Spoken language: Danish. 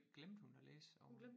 Glemte hun at læse over